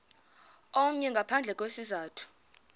omnye ngaphandle kwesizathu